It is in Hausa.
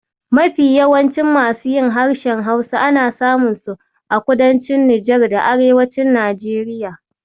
Mafi yawan masu yin harshen Hausa ana samun su a kudancin Nijar da arewacin Najeriya.